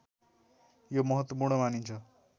यो महत्वपूर्ण मानिन्छ